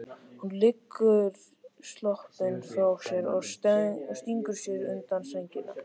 Hún leggur sloppinn frá sér og stingur sér undir sængina.